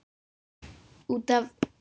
Út af.